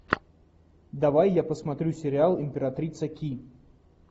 давай я посмотрю сериал императрица ки